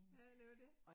Ja det jo det